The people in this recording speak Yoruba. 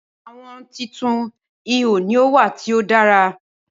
Awọn titun iho ni o wa ti o dara